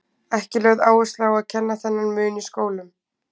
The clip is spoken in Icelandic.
Ekki er lögð áhersla á að kenna þennan mun í skólum.